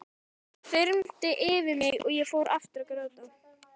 Það þyrmdi yfir mig og ég fór aftur að gráta.